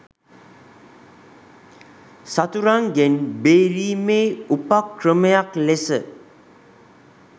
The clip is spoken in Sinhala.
සතුරන්ගෙන් බේරීමේ උපක්‍රමයක් ලෙස